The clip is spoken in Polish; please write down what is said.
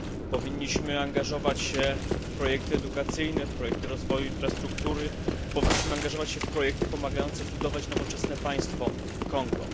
Powinniśmy angażować się w projekty edukacyjne, w projekty rozwoju infrastruktury, powinniśmy angażować się w projekty pomagające budować nowoczesne państwo w Kongu.